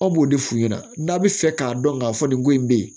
An b'o de f'u ɲɛna n'a bɛ fɛ k'a dɔn k'a fɔ nin ko in bɛ yen